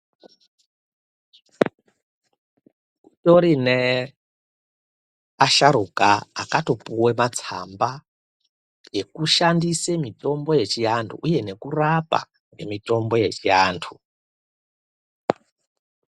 Kurine asharuka akatopuwe matsamba ekushandise mutombo yechiantu uye nekurapa ngemitombo yechiantu.